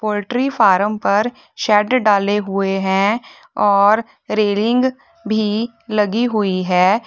Poultry farm पर shed डाले हुए है और रेलिंग भी लगी हुई है।